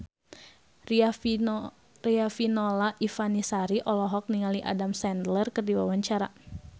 Riafinola Ifani Sari olohok ningali Adam Sandler keur diwawancara